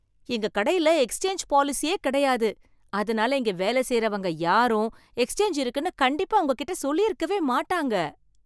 எங்க கடையில எக்ஸ்சேஞ்ச் பாலிசியே கிடையாது, அதனால இங்க வேலை செய்றவங்க யாரும் எக்ஸ்சேஞ்ச் இருக்குன்னு கண்டிப்பா உங்ககிட்ட சொல்லியிருக்கவே மாட்டாங்க